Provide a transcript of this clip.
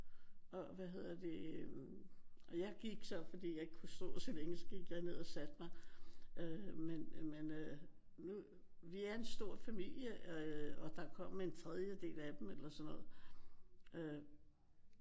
Og hvad hedder det øh og jeg gik så fordi jeg ikke kunne stå så længe. Så gik jeg ned og satte mig men øh men vi er en stor familie øh og der kom en tredjedel af dem eller sådan noget